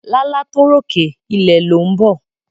Lálá tó rókè, ilẹ̀ ló ń bọ̀.